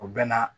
O bɛ na